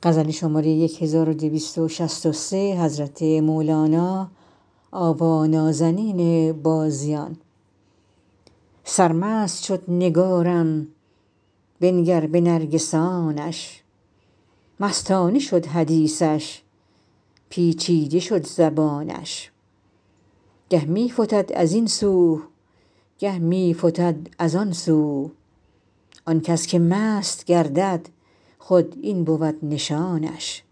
سرمست شد نگارم بنگر به نرگسانش مستانه شد حدیثش پیچیده شد زبانش گه می فتد از این سو گه می فتد از آن سو آن کس که مست گردد خود این بود نشانش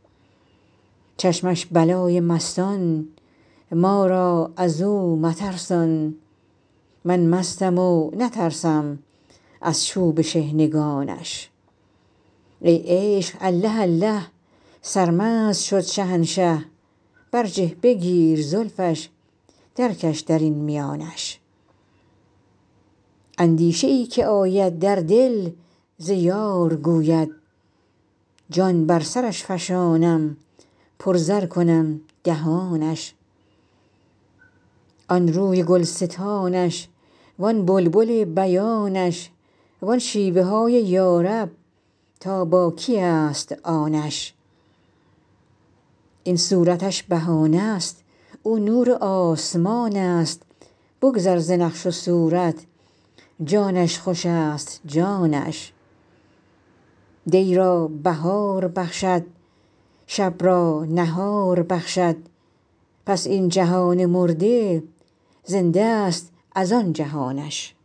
چشمش بلای مستان ما را از او مترسان من مستم و نترسم از چوب شحنگانش ای عشق الله الله سرمست شد شهنشه برجه بگیر زلفش درکش در این میانش اندیشه ای که آید در دل ز یار گوید جان بر سرش فشانم پرزر کنم دهانش آن روی گلستانش وان بلبل بیانش وان شیوه هاش یا رب تا با کیست آنش این صورتش بهانه ست او نور آسمانست بگذر ز نقش و صورت جانش خوشست جانش دی را بهار بخشد شب را نهار بخشد پس این جهان مرده زنده ست از آن جهانش